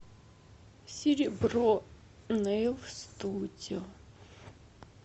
серебро нэил студио